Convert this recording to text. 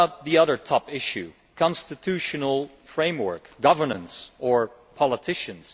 what about the other top issue a constitutional framework, governance, or politicians?